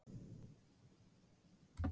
SKÚLI: Hafísinn tefur.